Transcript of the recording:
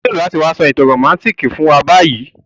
O nílo láti wa so ìtàn romantic fún wa bayi